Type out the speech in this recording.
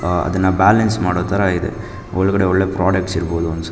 ಆಹ್ಹ್ ಅದನ್ನ ಬ್ಯಾಲೆನ್ಸ್ ಮಾಡೋ ತರ ಇದೆ ಒಳಗಡೆ ಒಳ್ಳೆ ಪ್ರಾಡಕ್ಟ್ ಇರಬಹುದು ಅಂತ ಅನ್ಸುತ್ತೆ.